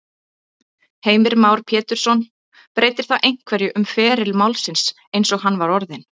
Heimir Már Pétursson: Breytir það einhverju um feril málsins eins og hann var orðinn?